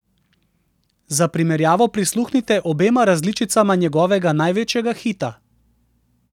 Za primerjavo prisluhnite obema različicama njegovega največjega hita!